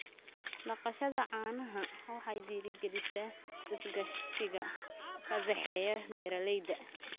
Dhaqashada caanaha waxay dhiirigelisaa iskaashiga ka dhexeeya beeralayda.